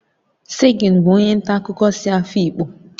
Segun bụ onye nta akụkọ si Afikpo